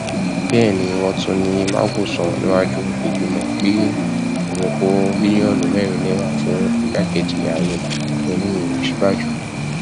bẹẹ ni wọn tún ní magu sọ níwájú ìgbìmọ pé òun kó bílíọnù mẹrin náírà fún igbákejì ààrẹ yẹmi òsínbàjọ